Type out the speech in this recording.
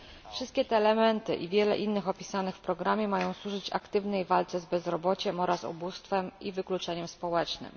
Wszystkie te elementy i wiele innych opisanych w programie mają służyć aktywnej walce z bezrobociem oraz ubóstwem i wykluczeniem społecznym.